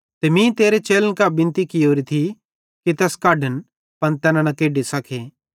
ते मीं तेरे चेलन कां बिनती कियोरी थी कि तैस कढन पन तैना न केढी सके